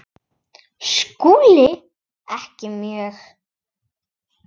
SKÚLI: Ekki mjög.